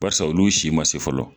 Barisa olu si ma se fɔlɔ